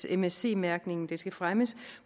msc mærkningen den skal fremmes